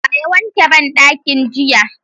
Wa ya wanke banɗakin jiya?